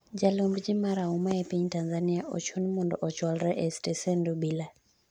Jalomb jii marahuma e piny Tanzania ochun mondo ochwalre e stesend obila